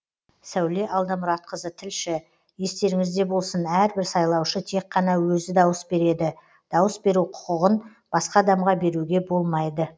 сәуле алдамұратқызы тілші естеріңізде болсын әрбір сайлаушы тек қана өзі дауыс береді дауыс беру құқығын басқа адамға беруге болмайды